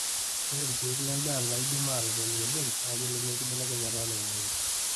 ore irkiek le ndaa laaidim atotoni oleng naa kelimu enkibelekenyat oloingangi